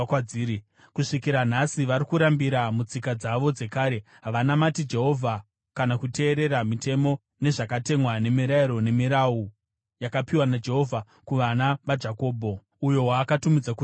Kusvikira nhasi vari kurambira mutsika dzavo dzekare. Havanamati Jehovha kana kuteerera mitemo nezvakatemwa, nemirayiro nemirau yakapiwa naJehovha kuvana vaJakobho, uyo waakatumidza kuti Israeri.